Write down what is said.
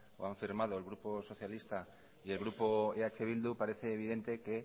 o han firmado el grupo socialista y el grupo eh bildu parece evidente que